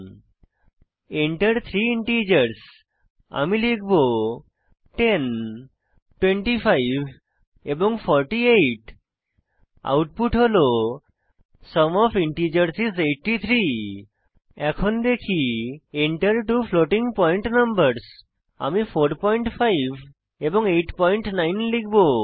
Enter three integers আমি লিখব 10 25 এবং 48 আউটপুট হল সুম ওএফ ইন্টিজার্স আইএস 83 এখন দেখি Enter two floating point numbers আমি 45 এবং 89 লিখব